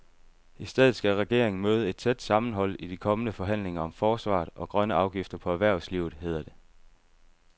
I stedet skal regeringen møde et tæt sammenhold i de kommende forhandlinger om forsvaret og grønne afgifter på erhvervslivet, hedder det.